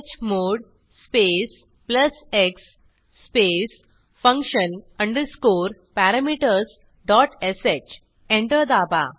chmod space plus x space function underscore parameters dot sh enter दाबा